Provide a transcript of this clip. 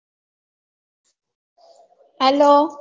hello